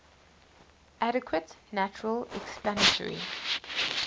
adequate natural explanatory